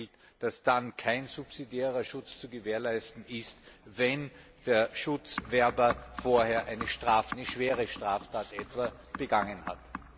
klargestellt, dass dann kein subsidiärer Schutz zu gewährleisten ist, wenn der Schutzwerber vorher eine schwere Straftat begangen hat.